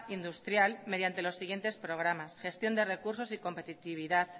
industrial mediante los siguientes programas gestión de recursos y competitividad